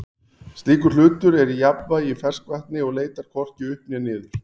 slíkur hlutur er í jafnvægi í ferskvatni og leitar hvorki upp né niður